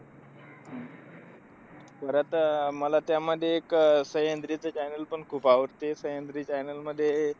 परत अह मला त्यामध्ये एक सह्याद्रीचं channel पण खूप आवडते. सह्याद्री channel मध्ये,